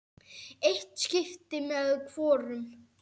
Eitt skipti með hvorum.